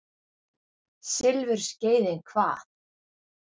Silfurskeiðin hvað?